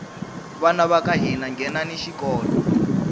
vana vaka hina nghenani xikolo